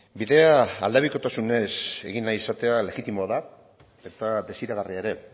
bidea aldebikotasunez egin nahi izatea legitimoa da eta desiragarria ere